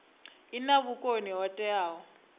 i na vhukoni ho teaho